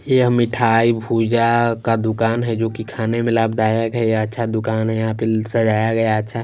यह मिठाई भूजा का दुकान है जो कि खाने में लाभदायक है जो यह अच्छा दुकान है यहां पे सजाया गया अच्छा।